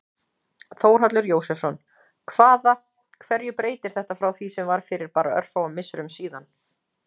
Þórhallur Jósefsson: Hvaða, hverju breytir þetta frá því sem var fyrir bara örfáum misserum síðan?